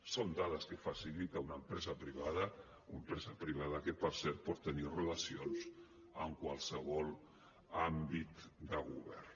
són dades que facilita una empresa privada una empresa privada que per cert pot tenir relacions amb qualsevol àmbit de govern